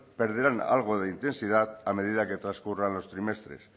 perderán algo de intensidad a medida que transcurran los trimestres